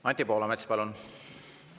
Anti Poolamets, palun!